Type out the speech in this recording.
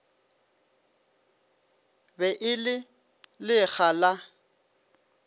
be e le lekga la